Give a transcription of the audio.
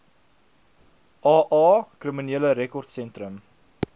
aa kriminele rekordsentrum